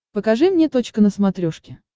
покажи мне точка на смотрешке